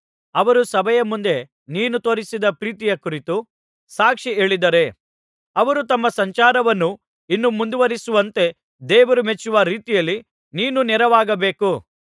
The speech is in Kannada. ಅವರು ಸಭೆಯ ಮುಂದೆ ನೀನು ತೋರಿಸಿದ ಪ್ರೀತಿಯ ಕುರಿತು ಸಾಕ್ಷಿ ಹೇಳಿದ್ದಾರೆ ಅವರು ತಮ್ಮ ಸಂಚಾರವನ್ನು ಇನ್ನೂ ಮುಂದುವರಿಸುವಂತೆ ದೇವರು ಮೆಚ್ಚುವ ರೀತಿಯಲ್ಲಿ ನೀನು ನೆರವಾಗಬೇಕು